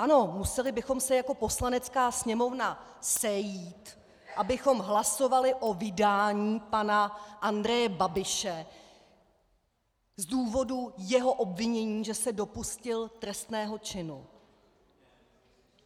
Ano, museli bychom se jako Poslanecká sněmovna sejít, abychom hlasovali o vydání pana Andreje Babiše z důvodu jeho obvinění, že se dopustil trestného činu.